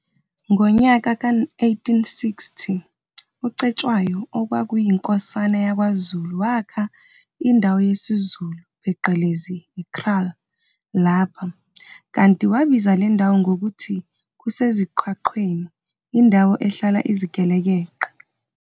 Ngonyaka ka1860, u-Cetshwayo, okwakuyinkosana yakwaZulu, wakha indawo yesizulu, pheqelezi, i-kraal lapha, kanti wabiza le ndawo ngokuthi kuseZiqwaqweni, "indawo ehlala izigelekeqe".